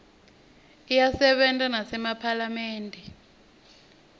iyasebenta nasemaphalamende